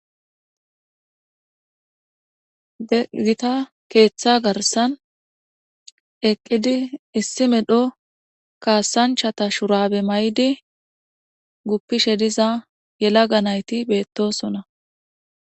Giita keththa gaarssan eqqidi issi medhdho kasanchchata shurabe mayidi guppishe diiza yeelaga naytti bettossona.